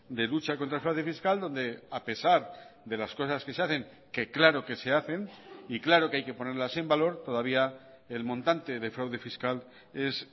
de lucha contra el fraude fiscal donde a pesar de las cosas que se hacen que claro que se hacen y claro que hay que ponerlas en valor todavía el montante de fraude fiscal es